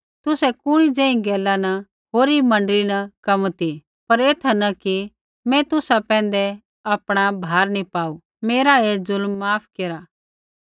तुसै कुणी ज़ेही गैला न होरी मण्डली न कम ती पर ऐथा न कि मैं तुसा पैंधै आपणा भार नी पाऊ मेरा ऐ जु़ल्म माफ़ केरा